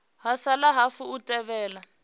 ha sala hafu u thivhela